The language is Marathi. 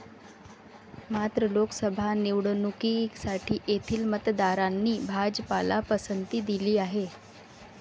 मात्र, लोकसभा निवडणुकीसाठी येथील मतदारांनी भाजपला पसंती दिली आहे.